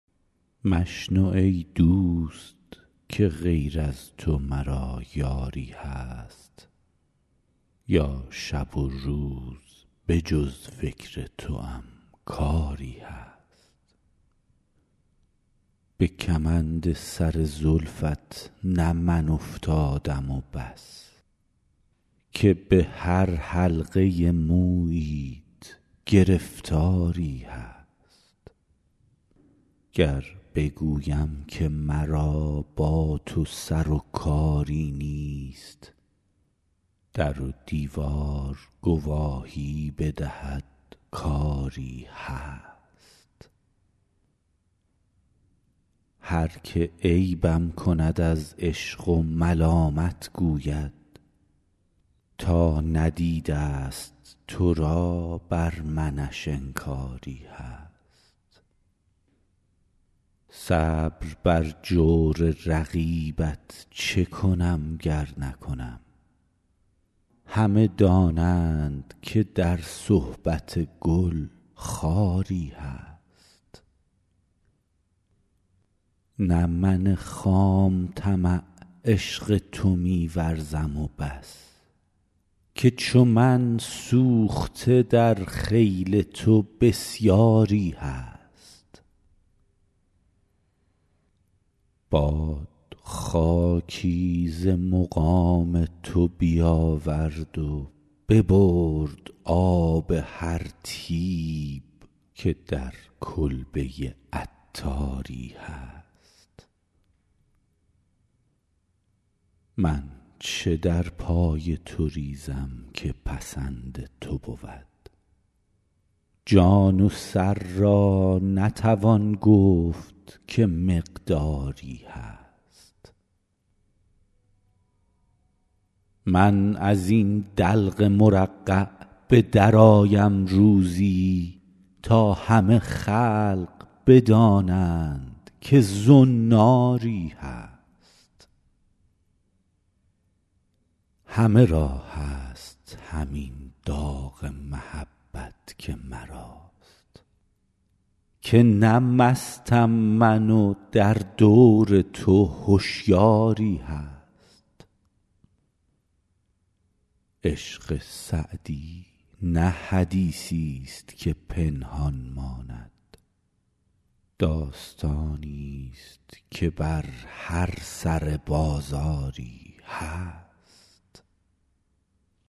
مشنو ای دوست که غیر از تو مرا یاری هست یا شب و روز به جز فکر توام کاری هست به کمند سر زلفت نه من افتادم و بس که به هر حلقه موییت گرفتاری هست گر بگویم که مرا با تو سر و کاری نیست در و دیوار گواهی بدهد کآری هست هر که عیبم کند از عشق و ملامت گوید تا ندیده است تو را بر منش انکاری هست صبر بر جور رقیبت چه کنم گر نکنم همه دانند که در صحبت گل خاری هست نه من خام طمع عشق تو می ورزم و بس که چو من سوخته در خیل تو بسیاری هست باد خاکی ز مقام تو بیاورد و ببرد آب هر طیب که در کلبه عطاری هست من چه در پای تو ریزم که پسند تو بود جان و سر را نتوان گفت که مقداری هست من از این دلق مرقع به درآیم روزی تا همه خلق بدانند که زناری هست همه را هست همین داغ محبت که مراست که نه مستم من و در دور تو هشیاری هست عشق سعدی نه حدیثی است که پنهان ماند داستانی است که بر هر سر بازاری هست